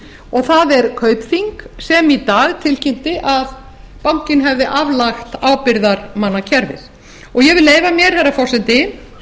og það er kaupþing sem í dag tilkynnti að bankinn hefði aflagt ábyrgðarmannakerfi og ég vil leyfa mér herra forseti